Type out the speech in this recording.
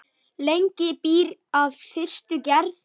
Lengi býr að fyrstu gerð.